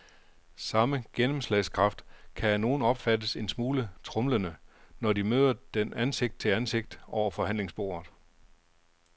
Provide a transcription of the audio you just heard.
Samme gennemslagskraft kan af nogle opfattes en smule tromlende, når de møder den ansigt til ansigt over forhandlingsbordet.